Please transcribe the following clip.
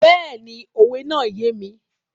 Bẹ́ẹ̀ni, òwe náà yé mi.